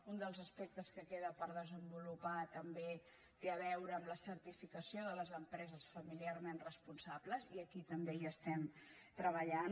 un dels as·pectes que queda per desenvolupar també té a veure amb la certificació de les empreses familiarment res·ponsables i aquí també hi estem treballant